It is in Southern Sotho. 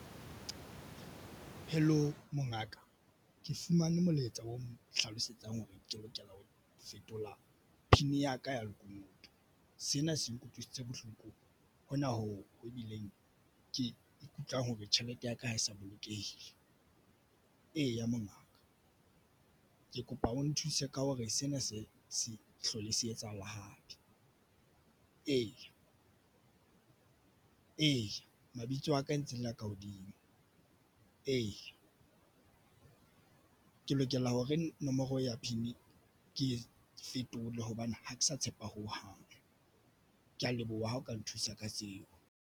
Hello mongaka, ke fumane molaetsa o nhlalosetsang hore ke lokela ho fetola PIN ya ka ya lekunutu. Sena se nkutlwisitse bohloko hona hoo ebileng ke ikutlwang hore tjhelete ya ka ha e sa bolokehile. Eya, mongaka ke kopa o nthuse ka hore sena se se hlole se etsahala hape. Eya, eya mabitso a ka e ntse le a ka hodimo, ee ke lokela hore nomoro ya PIN ke e fetole hobane ha ke sa tshepa hohang. Ke ya leboha ha o ka nthusa ka seo.